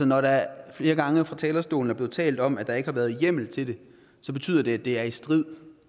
når der flere gange fra talerstolen er blevet talt om at der ikke har været hjemmel til det så betyder det at det er i strid